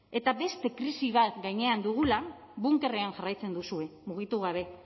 eta beste krisi bat gainean dugula bunkerrean jarraitzen duzue mugitu gabe